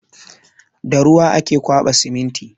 Da ruwa ake ƙwaba siminti.